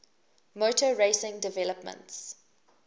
motor racing developments